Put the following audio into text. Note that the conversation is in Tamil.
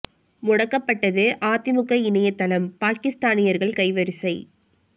முடக்கப்பட்டது அதிமுக இணையத்தளம் பாகிஸ்தானியர்கள் கைவரிசை